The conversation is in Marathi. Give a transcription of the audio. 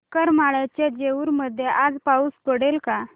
करमाळ्याच्या जेऊर मध्ये आज पाऊस पडेल का